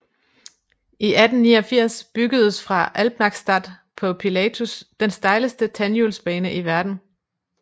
I 1889 byggedes fra Alpnachstad på Pilatus den stejleste tandhjulsbane i verden